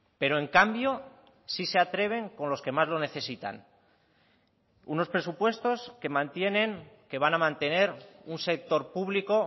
pero en cambio sí se atreven con los que más lo necesitan unos presupuestos que mantienen que van a mantener un sector público